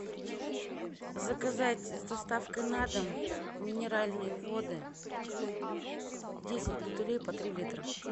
заказать с доставкой на дом минеральные воды десять бутылей по три литра